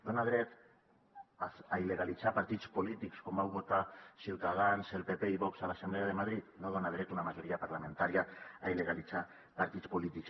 dona dret a il·legalitzar partits polítics com vau votar ciutadans el pp i vox a l’assemblea de madrid no dona dret una majoria parlamentària a il·legalitzar partits polítics